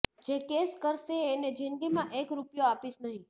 જે કેસ કરશે એને જિંદગીમાં એક રૂપિયો આપીશ નહીં